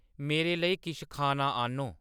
मेरे लेई किश खाना आह्‌‌‌न्नो